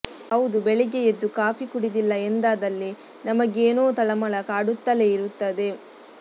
ಹೌದು ಬೆಳಗ್ಗೆ ಎದ್ದು ಕಾಫಿ ಕುಡಿದಿಲ್ಲ ಎಂದಾದಲ್ಲಿ ನಮಗೇನೋ ತಳಮಳ ಕಾಡುತ್ತಲೇ ಇರುತ್ತದೆ